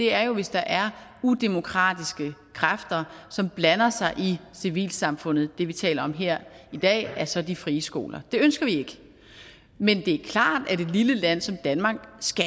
er jo hvis der er udemokratiske kræfter som blander sig i civilsamfundet det vi taler om her i dag er så de frie skoler det ønsker vi ikke men det er klart at et lille land som danmark